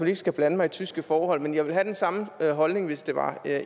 ikke skal blande mig i tyske forhold men jeg ville have den samme holdning hvis det var